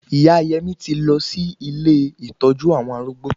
Ìyá Yẹmí ti lọ sí ilé ìtọ́jú àwọn arúgbó